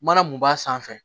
Mana mun b'a sanfɛ